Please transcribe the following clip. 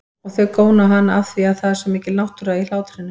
Og þau góna á hana afþvíað það er svo mikil náttúra í hlátrinum.